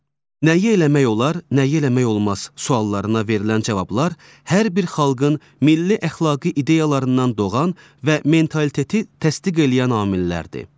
Nəyi eləmək olar, nəyi eləmək olmaz suallarına verilən cavablar hər bir xalqın milli əxlaqi ideyalarından doğan və mentaliteti təsdiq eləyən amillərdir.